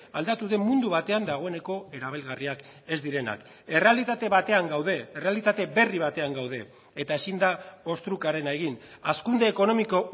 aldatu den mundu batean dagoeneko erabilgarriak ez direnak errealitate batean gaude errealitate berri batean gaude eta ezin da ostrukarena egin hazkunde ekonomiko